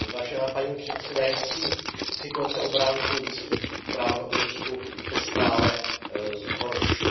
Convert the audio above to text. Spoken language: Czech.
Paní předsedající, situace obránců lidských práv v Rusku se stále zhoršuje.